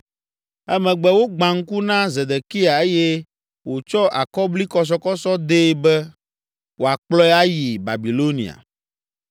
Emegbe wògbã ŋku na Zedekia eye wòtsɔ akɔblikɔsɔkɔsɔ dee be wòakplɔe ayi Babilonia.